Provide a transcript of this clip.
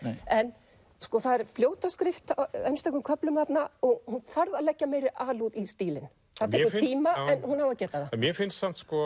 en sko það er fljótaskrift á einstökum köflum þarna og hún þarf að leggja meiri alúð í stílinn það tekur tíma en hún á að geta það mér finnst